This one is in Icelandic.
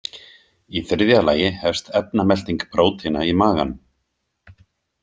Í þriðja lagi hefst efnamelting prótína í maganum.